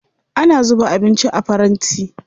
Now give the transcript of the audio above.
Ana zuba abinci a faranti.